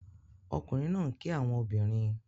Ọkunrin naa n ki awọn obinrin